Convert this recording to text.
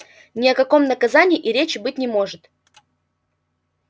ни о каком наказании и речи быть не может